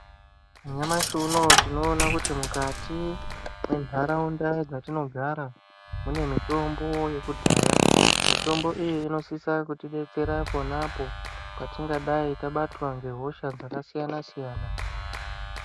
Nyamashi unoyu tinoona kuti mukati mwentaraunda dzatinogara mune mitombo yekudhaya. Mitombo iyi inosisa kutidetsera ponapo patingadai tabatwa ngehosha dzakasiyana siyana.